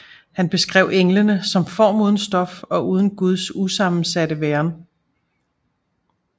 Han beskrev englene som form uden stof og uden Guds usammensatte væren